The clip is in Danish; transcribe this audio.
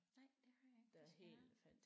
Nej det har jeg ikke desværre